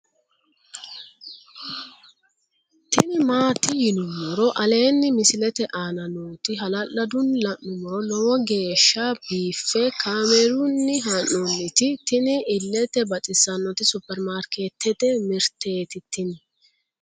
tini maati yinummoro aleenni misilete aana nooti hala'ladunni la'nummoro lowo geeshsha biiffe kaamerunni haa'nooniti tini illete baxissannoti superimarikeetete mirteeti tini